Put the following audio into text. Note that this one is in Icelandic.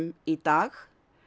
í dag